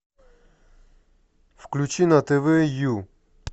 включи на тв ю